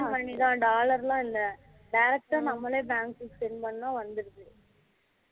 money தான் dollar லாம் இல்லை direct நம்மலே bank send பண்ணுனா வந்துருது